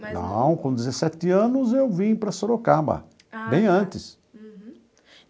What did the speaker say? Não, com dezessete anos eu vim para Sorocaba, bem antes. Uhum.